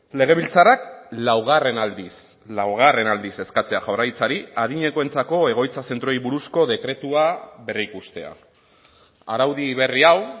legebiltzarrak laugarren aldiz laugarren aldiz eskatzea jaurlaritzari adinekoentzako egoitza zentroei buruzko dekretua berrikustea araudi berri hau